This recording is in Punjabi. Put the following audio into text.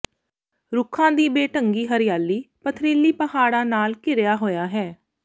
ਰੁੱਖਾਂ ਦੀ ਬੇਢੰਗੀ ਹਰਿਆਲੀ ਪੱਥਰੀਲੀ ਪਹਾੜਾਂ ਨਾਲ ਘਿਰਿਆ ਹੋਇਆ ਹੈ